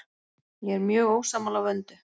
Ég er mjög ósammála Vöndu.